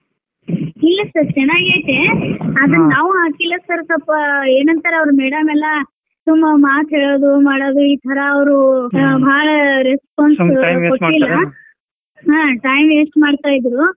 ಇಲ್ಲಾ sir ಚನಾಗ್ ಐತೆ ಆದ್ರ ನಾವ್ ಹಾಕಿಲ್ಲ sir ಸಲ್ಪ ಎನ್ ಅಂತಾರ ಅವ್ರ madam ಎಲ್ಲಾ ಸುಮ್ನ ಮಾತ್ ಹೇಳುದು ಮಾಡುದು. ಈ ತರಾ ಅವ್ರ ಹಾ ಬಾಳ response ಕೊಟ್ಟಿಲ್ಲ ಹಾ time waste ಮಾಡ್ತಾಇದ್ರು.